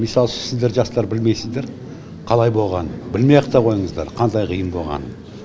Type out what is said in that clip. мысалы сіздер жастар білмейсіздер қалай болғанын білмей ақ та қойыңыздар қандай қиын болғанын